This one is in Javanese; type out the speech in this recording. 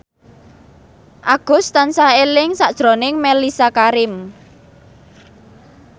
Agus tansah eling sakjroning Mellisa Karim